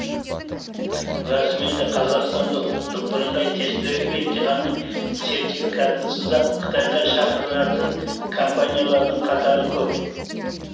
расымен де қазақстанда ұлттық біріңғай тестілеу емтиханының сертификатынсыз ақ қытайға шақыратын компаниялардың қатары көп